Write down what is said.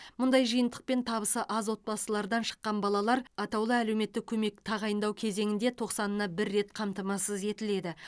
мұндай жиынтықпен табысы аз отбасылардан шыққан балалар атаулы әлеуметтік көмек тағайындау кезеңінде тоқсанына бір рет қамтамасыз етіледі